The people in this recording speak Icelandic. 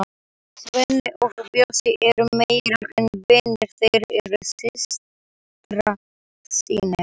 Svenni og Bjössi eru meira en vinir, þeir eru systrasynir.